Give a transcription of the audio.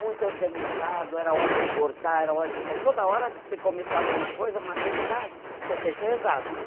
Muito organizado, era hora de bordar, era hora de re, toda hora que você começava uma coisa, uma atividade, você tinha que rezar, né?